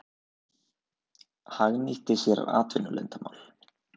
Hagnýtti sér atvinnuleyndarmál